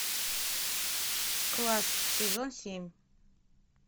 класс сезон семь